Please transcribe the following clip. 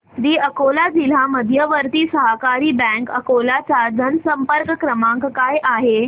दि अकोला जिल्हा मध्यवर्ती सहकारी बँक अकोला चा जनसंपर्क क्रमांक काय आहे